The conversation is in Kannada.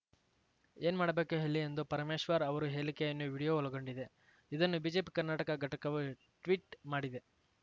ಏನ್‌ ಮಾಡಬೇಕು ಹೇಳಿ ಎಂದು ಪರಮೇಶ್ವರ್ ಅವರು ಹೇಳಿಕೆಯನ್ನು ವಿಡಿಯೋ ಒಳಗೊಂಡಿದೆ ಇದನ್ನು ಬಿಜೆಪಿ ಕರ್ನಾಟಕ ಘಟಕವು ಟ್ವೀಟ್‌ ಮಾಡಿದೆ